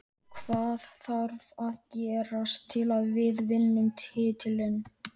Hvað þarf að gerast til að við vinnum titilinn?